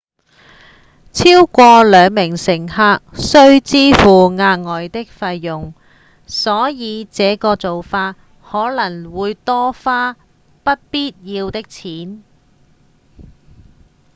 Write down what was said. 超過兩名乘客需支付額外的費用所以這個做法可能會多花不必要的錢